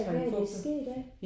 Hvad er der sket der?